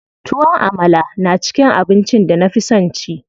Tuwon Amala na cikin abincin da na fi son ci.